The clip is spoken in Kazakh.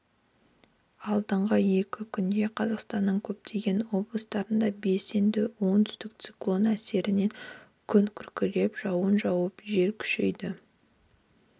алдағы екі күнде қазақстанның көптеген облыстарында белсенді оңтүстік циклон әсерінен күн күркіреп жауын жауып жел күшейеді